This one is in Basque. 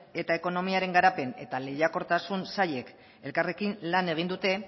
eta ekonomiaren garapen eta lehiakortasun sailek elkarrekin lan egin dute